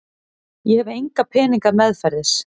Ég hef enga peninga meðferðis.